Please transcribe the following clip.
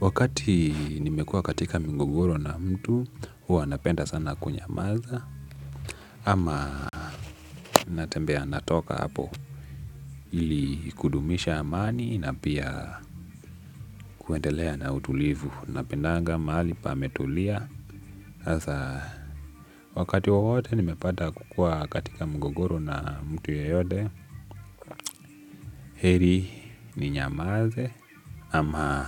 Wakati nimekua katika migogoro na mtu, huwa napenda sana kunyamaza. Ama natembea natoka hapo ili kudumisha amani na pia kuendelea na utulivu napendanga mahali pametulia. Asa, wakati wawote nimepata kukua katika migogoro na mtu yoyote. Heri ninyamaze ama